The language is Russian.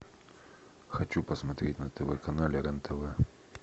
хочу посмотреть на тв канале рен тв